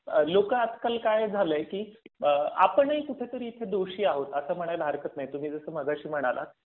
लोक आजकाल काय झालंय की आपणही कुठेतरी इथे दोषी आहोत असं म्हणाय ला हरकत नाही. तुम्ही जसं मगा शी म्हणालात